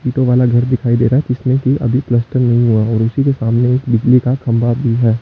दो माला घर दिखाई दे रहा है जिसमें की अभी प्लास्टर नहीं हुआ है और उसी के सामने एक बिजली का खंभा भी है।